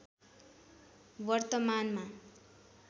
वर्तमानमा